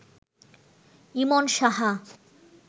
Emon Saha